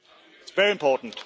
It is very important.